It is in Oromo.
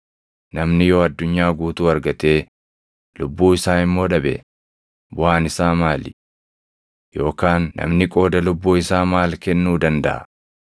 Namni yoo addunyaa guutuu argatee lubbuu isaa immoo dhabe, buʼaan isaa maali? Yookaan namni qooda lubbuu isaa maal kennuu dandaʼa?